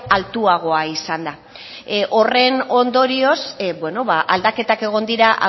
altuagoa izan da horren ondorioz aldaketak egon dira